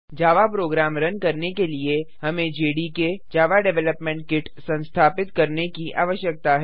जावा program run करने के लिए हमें जेडीके जावा डेवलपमेंट किट संस्थापित करने की आवश्यकता है